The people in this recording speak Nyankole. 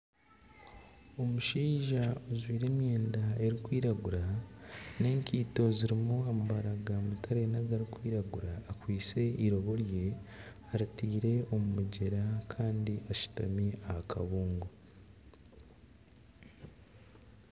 Omushaija ojwaire emyenda erikwiragura n'ekaito zirimu amabara ga mutare n'agarikwiraguura akwaitse eirobo rye aritaire omu mugyera kandi ashutami aha kabungo.